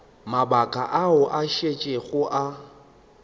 mabaka ao a šetšego a